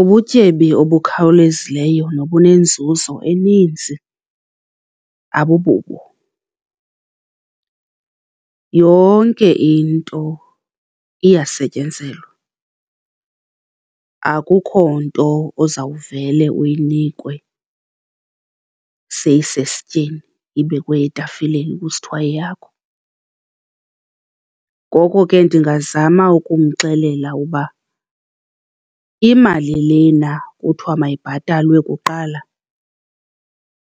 Ubutyebi obukhawulezileyo nobunenzuzo eninzi abububo. Yonke into iyasetyenzelwa, akukho nto ozawuvele uyinikwe seyisesityeni, ibekwe etafileni kusithiwa yeyakho. Ngoko ke ndingazama ukumxelela uba imali lena kuthiwa mayibhatalwe kuqala